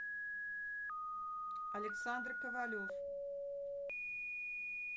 александр ковалев